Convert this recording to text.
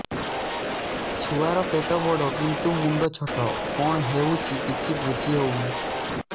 ଛୁଆର ପେଟବଡ଼ କିନ୍ତୁ ମୁଣ୍ଡ ଛୋଟ କଣ ହଉଚି କିଛି ଵୁଝିହୋଉନି